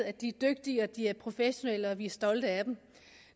at de er dygtige at de er professionelle og at vi er stolte af dem